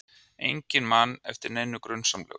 Enginn man eftir neinu grunsamlegu.